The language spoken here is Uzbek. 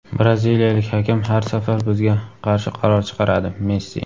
Braziliyalik hakam har safar bizga qarshi qaror chiqaradi – Messi.